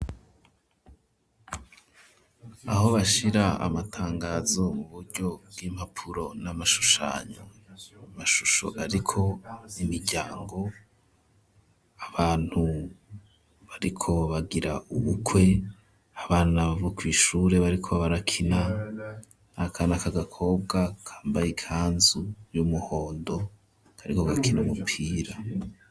Aho bashira amatangazo, mu buryo bw'impapuro n'amashushanyo, amashusho ariko imiryango, abantu bariko bagira ubukwe, abana bo kw'ishure bariko barakina, n'akana k'agakobwa kambaye ikanzu y'umuhondo, kariko gakina umupira.